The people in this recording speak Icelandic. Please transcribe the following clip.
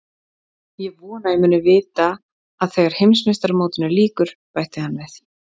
Ég vona að ég muni vita að þegar Heimsmeistaramótinu lýkur, bætti hann við.